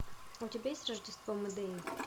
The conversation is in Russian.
у тебя есть рождество модели